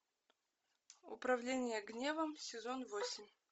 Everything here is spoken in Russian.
управление гневом сезон восемь